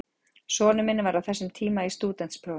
Sonur minn var á þessum tíma í stúdentsprófum.